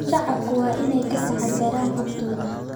Shacabku waa inay ka taxadaraan xogtooda.